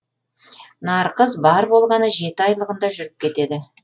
нарқыз бар болғаны жеті айлығында жүріп кетеді